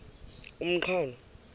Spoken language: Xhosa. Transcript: umqhano